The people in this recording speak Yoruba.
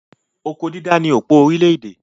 Oko dídá ni òpó orílẹ̀-èdè.